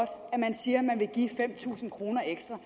siger at man vil give fem tusind kroner ekstra